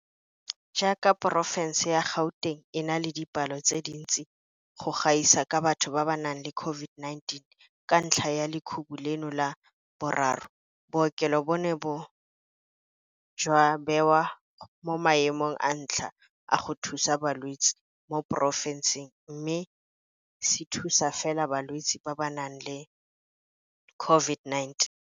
Jaaka porofense ya Gauteng e na le dipalo tse dintsi go gaisa tsa batho ba ba nang le COVID-19 ka ntlha ya lekhubu leno la boraro, bookelo bono bo ne jwa bewa mo maemong a ntlha a go thusa balwetse mo porofenseng mme se thusa fela balwetse ba ba nang le COVID-19.